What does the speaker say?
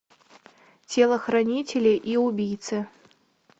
телохранители и убийцы